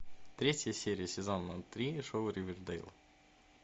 третья серия сезона три шоу ривердейл